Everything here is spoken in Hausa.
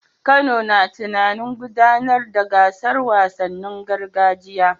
Kano na tunanin gudanar da gasar wasannin gargajiya